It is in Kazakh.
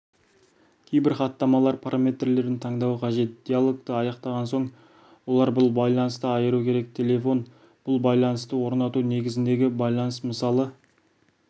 кейбір хаттамалар параметрлерін таңдауы қажет диалогты аяқтаған соң олар бұл байланысты айыру керек телефон бұл байланысты орнату негізіндегі байланыс мысалы